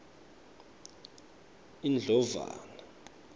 indlovana